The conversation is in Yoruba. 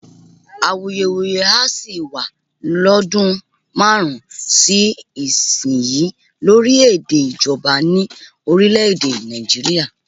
Awuyewuye á sì wá lọ́dún márùn-ún sí ìsinyìí lórí èdè ìjọba ní orílè-èdè Nàìjíríà